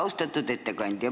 Austatud ettekandja!